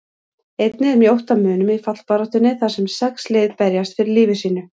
Einnig er mjótt á munum í fallbaráttunni þar sem sex lið berjast fyrir lífi sínu.